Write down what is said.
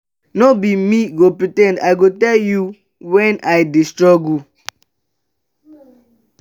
no be me go pre ten d i go tell you wen i dey struggle.